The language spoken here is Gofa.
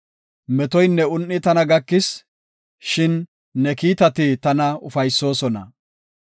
Metoynne un7i tana gakis; shin ne kiitati tana ufaysoosona.